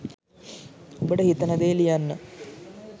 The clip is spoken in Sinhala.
ඔබට හිතෙන දේ ලියන්න